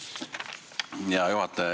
Hea juhataja!